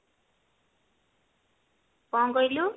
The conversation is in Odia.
କଣ କହିଲୁ